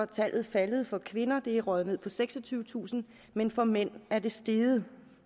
tallet faldet for kvinder det er røget ned på seksogtyvetusind men for mænd er det steget